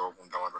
O kun damadɔ